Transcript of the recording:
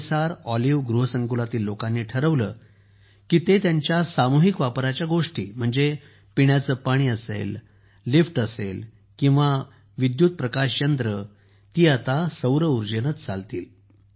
MSR Olive गृहसंकुलातील लोकांनी ठरवले की ते त्यांच्या सामूहिक वापराच्या गोष्टी म्हणजे पिण्याचे पाणी लिफ्ट उदवाहक आणि विद्युत प्रकाश यंत्रे आता सौर उर्जेनेच चालवतील